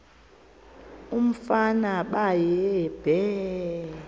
umfana baye bee